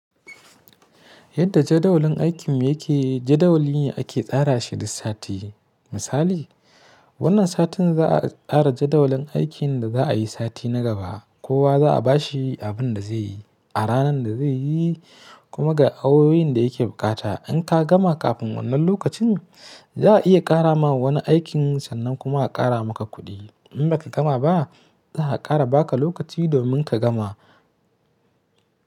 Yadda jadawalin aikin yake, jadawalin ake tsara shi duk sati. Misali, wannan satin za'a tsara jadawalin aikin da za'a yi sati na gaba. Kowa za'a ba shi abin da zai yi a ranar da zai yi, kuma ga awowin da yake bukata. In ka gama kafin wannan lokacin, za a iya ƙara ma wani aikin sannan kuma a ƙara maka kuɗi. In ba ka gama ba, za a ƙara ba ka lokaci domin ka gama.